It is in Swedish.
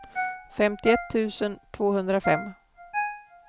femtioett tusen tvåhundrafem